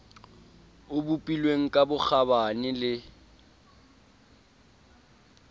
o bopilweng ka bokgabane le